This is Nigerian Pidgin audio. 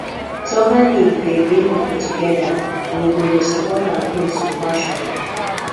soccer league dey bring people together we go dey support our teams with passion